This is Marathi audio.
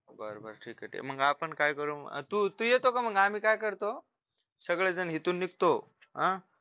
बरं बरं ठीके मग आपण काय करू तू तू येतो का मग आम्ही काय करतो सगळे जण इथून निघतो अह